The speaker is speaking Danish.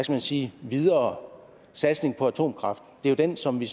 man sige videre satsning på atomkraft er jo den som vi